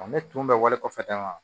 Ne tun bɛ wale kɔfɛ daga